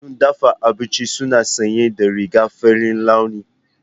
Masu dafa abinci suna sanye da rigar farin launi.